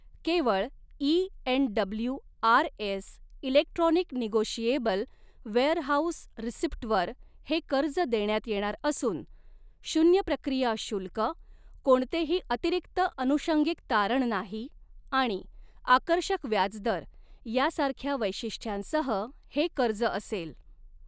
केवळ e NWRS electronic negotiable warehouse receipt वर हे कर्ज देण्यात येणार असून शून्य प्रक्रिया शुल्क, कोणतेही अतिरिक्त अनुषंगिक तारण नाही आणि आकर्षक व्याजदर यासारख्या वैशिष्ट्यांसह हे कर्ज असेल.